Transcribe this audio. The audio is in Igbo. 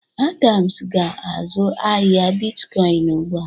Adams ga-azụ ahịa bitkọn ugbụ a.